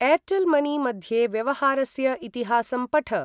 Airtel money मध्ये व्यवहारस्य इतिहासं पठ।